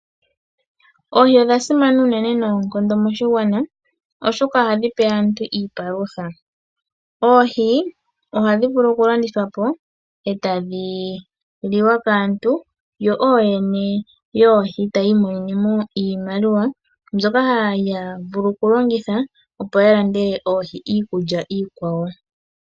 Oohi odhasimana uunene noonkondo moshigwana, oshoka ohadhi pe aantu iipalutha. Oohi ohadhi vulu okulandithwa po etadhi liwa kaantu yo ooyene yoohi tayi imonene iimaliwa, mbyoka haya vulu okulongitha opo yalandele oohi iikulya iikwawo.